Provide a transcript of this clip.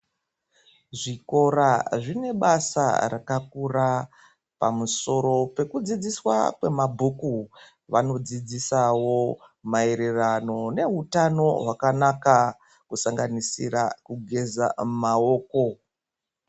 Zvikora zvine basa rakakura pamusoro pekudzidziswa kwemabhuku vanodzidzisawo maerirano ngeutano wakanaka kusanganisira kugeza maoko.